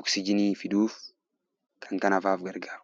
oksijiinii fiduuf kana kana fa'aa gargaaru.